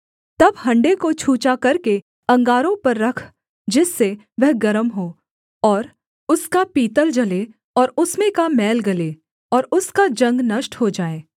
तब हण्डे को छूछा करके अंगारों पर रख जिससे वह गर्म हो और उसका पीतल जले और उसमें का मैल गले और उसका जंग नष्ट हो जाए